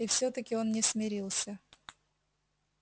и все таки он не смирился